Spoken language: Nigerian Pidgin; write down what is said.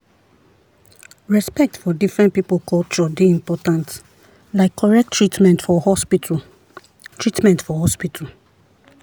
respect for different people culture dey important like correct treatment for hospital. treatment for hospital.